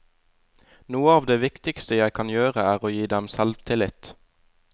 Noe av det viktigste jeg kan gjøre er å gi dem selvtillit.